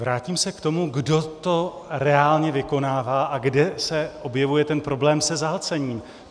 Vrátím se k tomu, kdo to reálně vykonává a kde se objevuje ten problém se zahlcením.